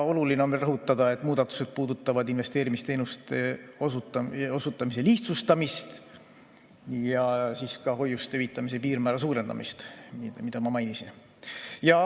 Oluline on veel rõhutada, et muudatused puudutavad investeerimisteenuste osutamise lihtsustamist ja ka hoiuste hüvitamise piirmäära suurendamist, mida ma mainisin.